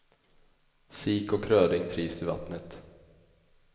Sik och röding trivs i vattnet.